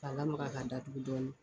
Ka lamaka ka datugu dɔɔni.